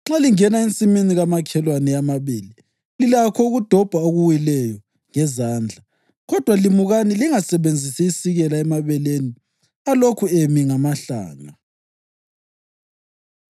Nxa lingena ensimini kamakhelwane eyamabele, lilakho ukudobha okuwileyo ngezandla, kodwa limukani lingasebenzisi isikela emabeleni alokhu emi ngamahlanga.”